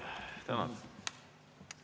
Tänan!